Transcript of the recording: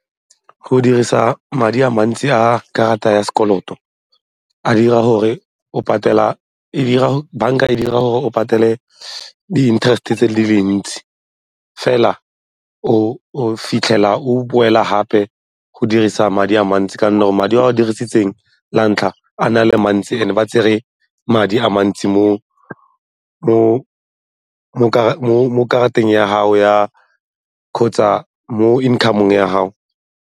Go dirisa madi a mantsi a karata ya sekoloto banka e dira gore o patele di-interest-e tse dintsi fela o fitlhela o boela gape go dirisa madi a mantsi ka 'onne gore madi a o a dirisitseng la ntlha a ne a le mantsi and-e ba tsere madi a mantsi mo karateng ya gago kgotsa mo income-ong ya gago.